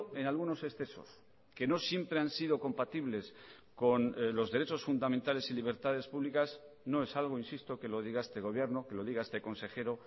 en algunos excesos que no siempre han sido compatibles con los derechos fundamentales y libertades públicas no es algo insisto que lo diga este gobierno que lo diga este consejero